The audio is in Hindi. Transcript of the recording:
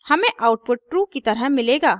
हमें आउटपुट true की तरह मिलेगा